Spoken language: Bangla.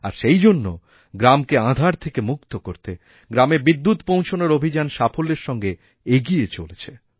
আরসেইজন্য গ্রামকে আঁধার থেকে মুক্ত করতে গ্রামে বিদ্যুৎ পৌঁছানোর অভিযান সাফল্যেরসঙ্গে এগিয়ে চলছে